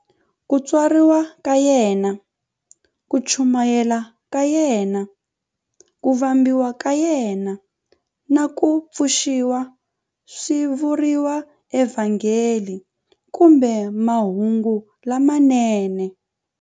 Ku tswariwa ka yena, ku chumayela ka yena, ku vambiwa ka yena, na ku pfuxiwa swi vuriwa eVhangeli kumbe"Mahungu lamanene".